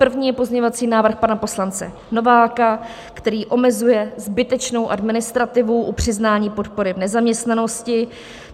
První je pozměňovací návrh pana poslance Nováka, který omezuje zbytečnou administrativu u přiznání podpory v nezaměstnanosti.